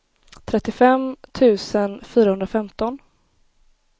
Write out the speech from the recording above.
trettiofem tusen fyrahundrafemton